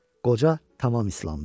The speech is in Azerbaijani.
Qoca tamam islandı.